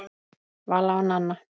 Vala og Nanna.